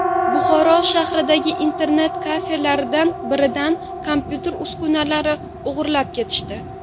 Buxoro shahridagi internet-kafelardan biridan kompyuter uskunalarini o‘g‘irlab ketishdi.